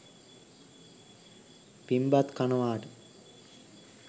පිං බත් කනවාට